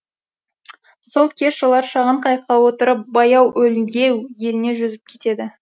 сол кеш олар шағын қайыққа отырып баяуөлгеу еліне жүзіп кетеді